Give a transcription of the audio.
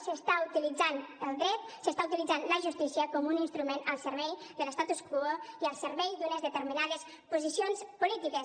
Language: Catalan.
s’està utilitzant el dret s’està utilitzant la justícia com un instrument al servei de l’servei d’unes determinades posicions polítiques